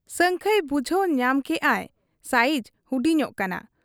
ᱥᱟᱹᱝᱠᱷᱟᱹᱭ ᱵᱩᱡᱷᱟᱹᱣ ᱧᱟᱢ ᱠᱮᱜ ᱟᱭ ᱥᱟᱭᱤᱡᱽ ᱦᱩᱰᱤᱧᱚᱜ ᱠᱟᱱᱟ ᱾